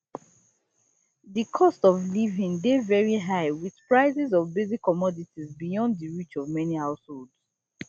di cost of living dey veri high wit prices of basic commodities beyond di reach of many households